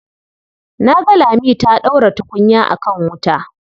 Na ga Lami ta ɗaura tukunya a kan wuta.